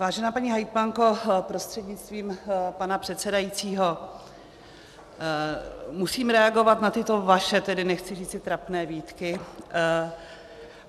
Vážená paní hejtmanko, prostřednictvím pana předsedajícího musím reagovat na tyto vaše, tedy nechci říci trapné, výtky.